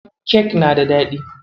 Kek na da daɗi.